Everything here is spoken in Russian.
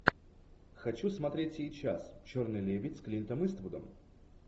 хочу смотреть сейчас черный лебедь с клинтом иствудом